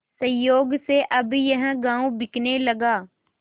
संयोग से अब यह गॉँव बिकने लगा